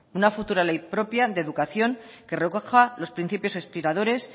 una futura ley propia de educación que recoja los principios inspiradores